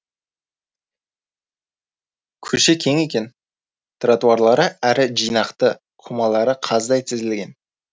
көше кең екен тротуарлы әрі жинақы қомалары қаздай тізілген